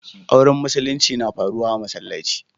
Auren musulinci na faruwa a'masallaci.